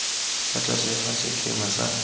fa tlase ga sekema sa